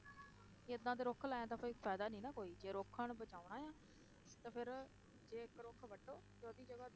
ਏਦਾਂ ਤੇ ਰੁੱਖ ਲਾਇਆਂ ਦਾ ਕੋਈ ਫ਼ਾਇਦਾ ਨੀ ਨਾ ਕੋਈ ਜੇ ਰੁੱਖਾਂ ਨੂੰ ਬਚਾਉਣਾ ਆਂ, ਤਾਂ ਫਿਰ ਜੇ ਇੱਕ ਰੁੱਖ ਵੱਢੋ ਤੇ ਉਹਦੀ ਜਗ੍ਹਾ,